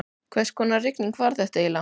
Hvers konar rigning var þetta eiginlega?